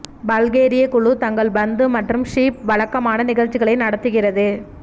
பல்கேரிய குழு தங்கள் பந்து மற்றும் ஹூப் வழக்கமான நிகழ்ச்சிகளை நடத்துகிறது